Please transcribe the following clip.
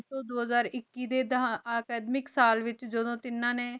ਤੂੰ ਦੋ ਹਜ਼ਾਰ ਏਕੀ ਅਕਾਦ੍ਵੇਕ ਸਾਲ ਵੇਚ ਜਿਦੁਨ ਤੇਨਾ ਨੀ